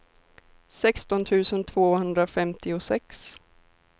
sexton tusen tvåhundrafemtiosex